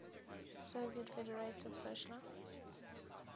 soviet federative socialist